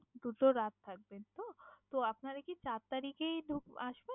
দুটো রাত থাকবেন তো? তো আপনারা কি চার তারিখেই ঢুক~ আসবেন?